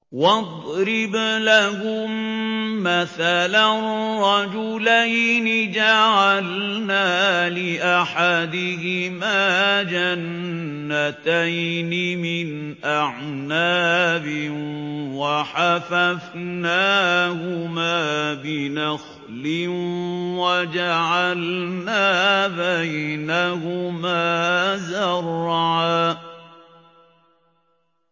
۞ وَاضْرِبْ لَهُم مَّثَلًا رَّجُلَيْنِ جَعَلْنَا لِأَحَدِهِمَا جَنَّتَيْنِ مِنْ أَعْنَابٍ وَحَفَفْنَاهُمَا بِنَخْلٍ وَجَعَلْنَا بَيْنَهُمَا زَرْعًا